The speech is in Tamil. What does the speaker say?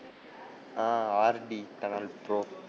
ah RD tunnel bro